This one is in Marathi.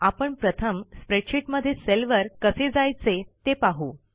आपण प्रथम स्प्रेडशीटमध्ये सेलवर कसे जायचे ते पाहू